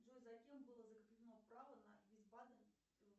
джой за кем было закреплено право на